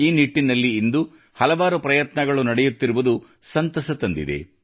ಈ ನಿಟ್ಟಿನಲ್ಲಿ ಇಂದು ಹಲವಾರು ಪ್ರಯತ್ನಗಳು ನಡೆಯುತ್ತಿರುವುದು ಸಂತಸ ತಂದಿದೆ